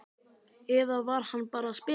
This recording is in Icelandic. Eða var hann bara að spila með mig?